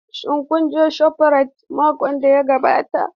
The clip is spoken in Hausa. Shin kun je shofrayit makon da ya gabata?